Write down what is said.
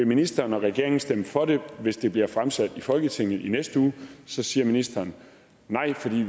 ministeren og regeringen vil stemme for det hvis det bliver fremsat i folketinget i næste uge siger ministeren nej for vi